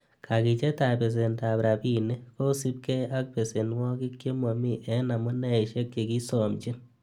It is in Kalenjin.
Kakichetab besenetab rabinik, ko siibge ak besenwogik che momi en amuneisiek che kiisomchin.